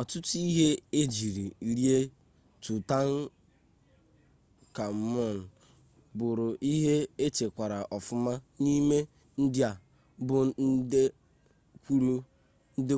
ọtụtụ ihe ejiri lie tụtankamun bụrụ ihe echekwara ọfụma n'ime ndị a bụ nde